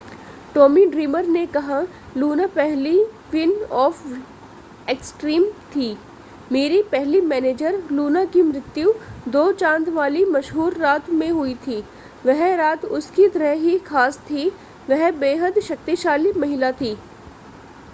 Tommy Dreamer ने कहा Luna पहली क्वीन ऑफ़ एक्सट्रीम थी मेरी पहली मैनेजर लूना की मृत्यु दो चांद वाली मशहूर रात में हुई थी वह रात उसकी तरह ही ख़ास थी वह बेहद शक्तिशाली महिला थी